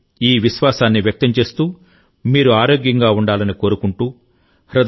ఈ విశ్వాసాన్ని వ్యక్తం చేస్తూ మీరు ఆరోగ్యంగా ఉండాలని కోరుకుంటున్నాను